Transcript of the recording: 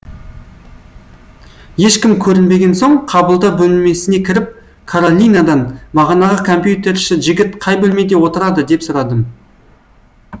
ешкім көрінбеген соң қабылдау бөлмесіне кіріп каролинадан бағанағы компьютерші жігіт қай бөлмеде отырады деп сұрадым